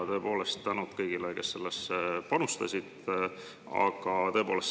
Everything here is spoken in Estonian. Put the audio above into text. Tõepoolest, tänud kõigile, kes sellesse panustasid!